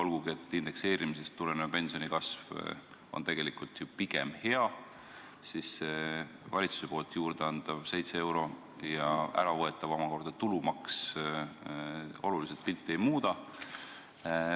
Olgugi et indekseerimisest tulenev pensionikasv on tegelikult ju pigem hea, valitsuse juurdeantav 7 eurot ja omakorda võetav tulumaks oluliselt pilti ei muuda.